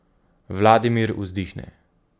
Vladimir vzdihne.